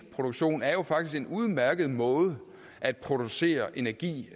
elproduktion er jo faktisk en udmærket måde at producere energi